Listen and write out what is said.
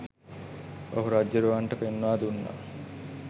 ඔහු රජ්ජුරුවන්ට පෙන්වා දුන්නා.